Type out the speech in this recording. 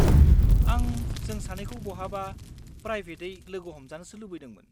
आं जों सानैखौ बहाबा प्राइबेटयै लोगो हमजानोसो लुबैदोंमोन।